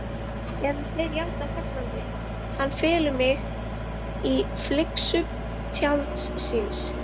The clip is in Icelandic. Eða þeir játa fagnandi: Hann felur mig í fylgsnum tjalds síns.